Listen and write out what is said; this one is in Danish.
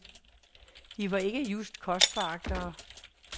De var ikke just kostforagtere.